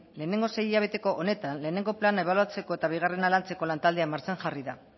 lehengo sei hilabeteko honetan lehengo plana ebaluatzeko eta bigarrena lantzeko lantaldea martxan jarri da